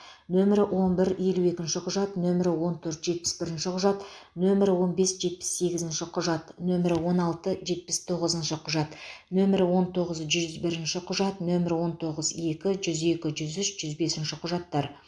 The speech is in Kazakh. нөмірі он бір елу екінші құжат нөмірі он төрт жетпіс бірінші құжат нөмірі он бес жетпіс сегізінші құжат нөмірі он алты жетпіс тоғызыншы құжат нөмірі он тоғыз жүз бірінші құжат нөмірі он тоғыз екі жүз екі жүз үш жүз бесінші құжаттар